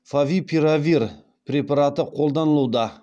фавипиравир препараты қолданылуда